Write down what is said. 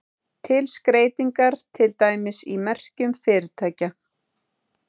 Til skreytingar, til dæmis í merkjum fyrirtækja.